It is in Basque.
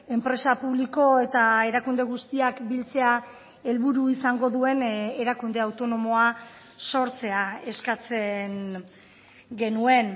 enpresa publiko eta erakunde guztiak biltzea helburu izango duen erakunde autonomoa sortzea eskatzen genuen